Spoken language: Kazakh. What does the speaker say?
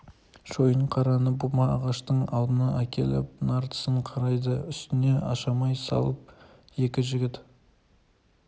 шойынқараны бума ағаштың алдына әкеліп нар тісін қайрайды үстіне ашамай салып екі жігіт